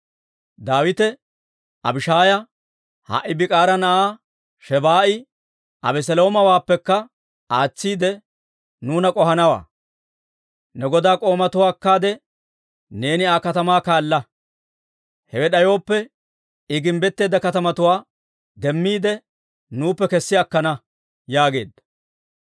Daawite Abishaaya, «Ha"i Biikira na'aa Shebaa'i Abeseloomawaappekka aatsiide nuuna k'ohanawaa. Ne godaa k'oomatuwaa akkaade neeni Aa k'atamaa kaala. Hewe d'ayooppe, I gimbbetteedda katamatuwaa demmiide nuuppe kessi akkana» yaageedda.